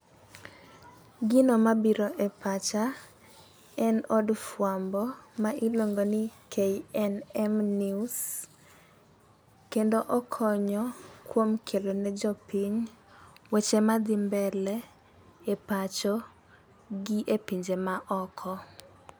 Gino mabiro e pacha, en od fwambo, ma iluongo ni KNM News. Kendo okonyo kuom kelone jopiny weche madhi mbele e pacho gi e pinje ma oko.